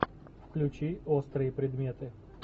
включи острые предметы